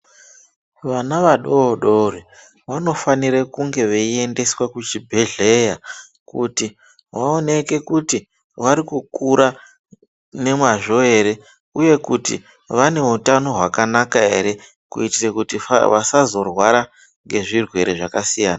Vana vadodori vanofanira kunge veiendeswa kuchibhedhlera kuti vaoneke kuti vari kukura nemazvo ere uye Kuti vane hutano hwakanaka ere kuitira kuti vasazorwara nezvirwere zvakasiyana.